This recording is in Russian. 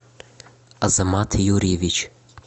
азамат юрьевич